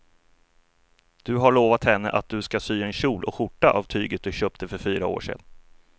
Du har lovat henne att du ska sy en kjol och skjorta av tyget du köpte för fyra år sedan.